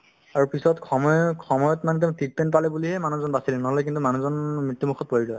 তাৰপিছত সময়ক~ সময়ত মানে তেওঁ treatment পালে বুলিহে মানুহজন বাচিল নহ'লে কিন্তু মানুহজন মৃত্যুমুখত পৰিলে হৈ